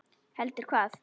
Heldur hvað?